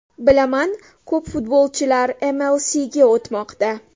Bilaman, ko‘plab futbolchilar MLS’ga o‘tmoqda.